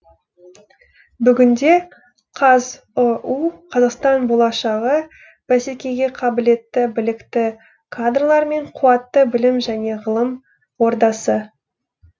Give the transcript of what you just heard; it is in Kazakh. бүгінде қазұу қазақстан болашағы бәсекеге қабілетті білікті кадрлар мен қуатты білім және ғылым ордасы